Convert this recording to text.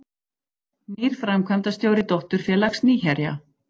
Nýr framkvæmdastjóri dótturfélags Nýherja